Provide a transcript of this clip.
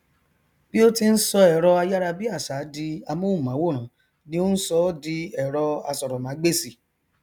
bí ó ti n sọ ẹrọ ayárabíàṣa di amóhùnmáwòrán ni ó n sọ ọ di ẹrọ asọrọmágbèsì